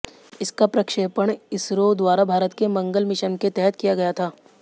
इसका प्रक्षेपण इसरो द्वारा भारत के मंगल मिशन के तहत किया गया था